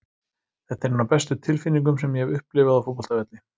Þetta er ein af bestu tilfinningum sem ég hef upplifað á fótboltavelli.